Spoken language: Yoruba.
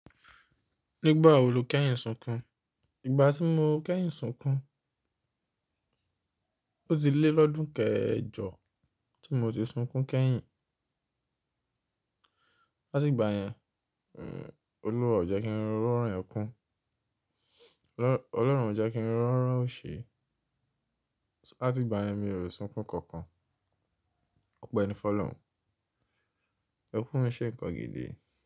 Nígbà wo lo kẹ́yìn sunkún, ìgbà tí mo kẹ́yìn sunkún, ó ti lé lọ́dún kẹjọ tí mo ti sunkún kẹ́yìn. Lati ìgbà yẹn, Olúwa o jẹ́ kí n rọran ẹkún. Ọlọ́run o jẹ́ kí n rọran òṣe. Lati ìgbà yẹn mi ò sunkún kankan. Ọpẹ́ ẹni fọ̀lọ́run, ẹkún o n ṣe ǹkan gidi.